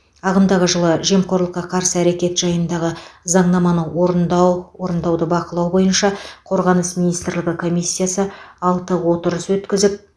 ағымдағы жылы жемқорлыққа қарсы әрекет жайындағы заңнаманы орындау орындауды бақылау бойынша қорғаныс министрлігі комиссиясы алтыншы отырыс өткізіп